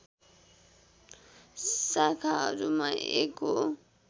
शाखाहरूमा एक हो